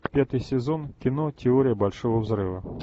пятый сезон кино теория большого взрыва